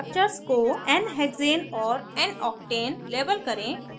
structures को nhexane और noctane label करें